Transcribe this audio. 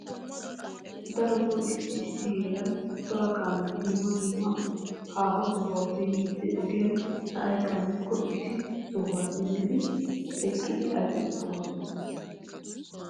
Darotoo issi issi heeran cora kaameti dumma dumma haaho sohuwappe yiiddi ogiyan sa'ay qammikko issi sohuwa simmidi eqqidi aqidi boosona.